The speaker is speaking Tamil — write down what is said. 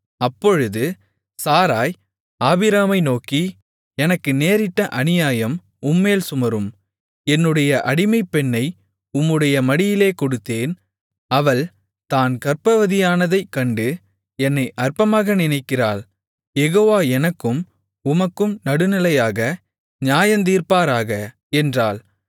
அப்பொழுது சாராய் ஆபிராமை நோக்கி எனக்கு நேரிட்ட அநியாயம் உம்மேல் சுமரும் என்னுடைய அடிமைப்பெண்ணை உம்முடைய மடியிலே கொடுத்தேன் அவள் தான் கர்ப்பவதியானதைக் கண்டு என்னை அற்பமாக நினைக்கிறாள் யெகோவா எனக்கும் உமக்கும் நடுநிலையாக நியாயந்தீர்ப்பாராக என்றாள்